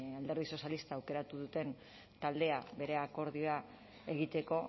alderdi sozialistak aukeratu duten taldea bere akordioa egiteko